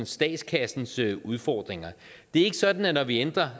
statskassens udfordringer det er ikke sådan at når vi ændrer